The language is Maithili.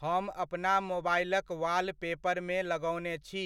हम अपना मोबाइलक वालपेपरमे लगओने छी,